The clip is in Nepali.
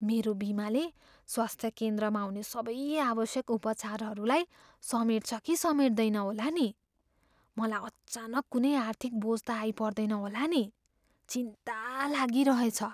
मेरो बिमाले स्वास्थ्य केन्द्रमा हुने सबै आवश्यक उपचारहरूलाई समेट्छ कि समेट्दैन होला नि? मलाई अचानक कुनै आर्थिक बोझ त आइपर्दैन होला नि! चिन्ता लागिरहेछ।